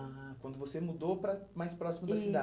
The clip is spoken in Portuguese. Ah, quando você mudou para mais próximo da cidade. Isso.